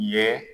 Ye